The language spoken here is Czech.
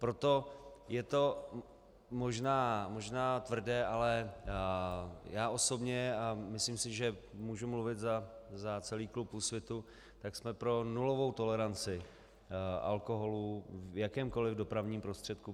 Proto je to možná tvrdé, ale já osobně a myslím si, že můžu mluvit za celý klub Úsvitu, tak jsme pro nulovou toleranci alkoholu v jakémkoliv dopravním prostředku.